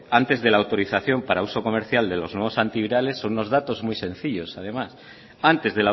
antes de la autorización para uso comercial de los nuevos antivirales son muy sencillos además antes